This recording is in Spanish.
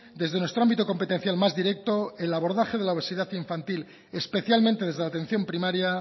desde nuestro ámbito competencial más directo el abordaje de la obesidad infantil especialmente desde la atención primaria